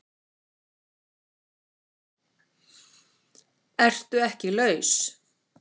ERTU EKKI LAUS?